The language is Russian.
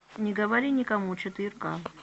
не говори никому четыре ка